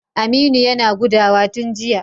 Aminu yana gudawa tun jiya.